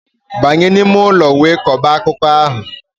Banye n'ime ụlọ wee kọba akụkọ ahụ!